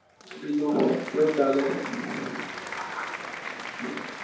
બીજું કેવું ચાલે છે?